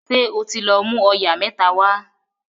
ṣe o tí lọ mú oyà mẹ́ta wá